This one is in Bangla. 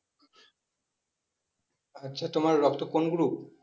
আচ্ছা তোমার রক্ত কোন group?